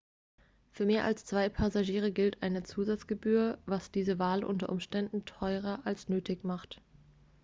für mehr als 2 passagiere gilt eine zusatzgebühr was diese wahl unter umständen teurer als nötig macht